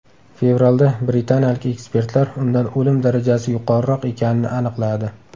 Fevralda britaniyalik ekspertlar undan o‘lim darajasi yuqoriroq ekanini aniqladi.